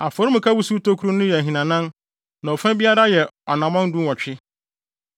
Afɔremuka wusiw tokuru no yɛ ahinanan, na ɔfa biara yɛ anammɔn dunwɔtwe.